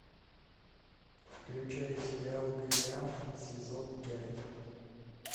включай сериал голиаф сезон пять